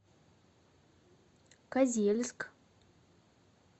козельск